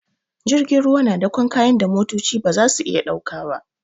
Jirgin ruwa na dakon kayan da motoci ba za su iya dauka ba.